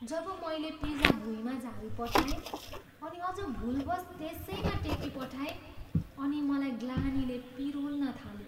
जब मैले पिज्जा भुइँमा झारीपठाएँ अनि अझ भुलवश् त्यसैमा टेकिपठाएँ अनि मलाई ग्लानीले पिरोल्न थाल्यो।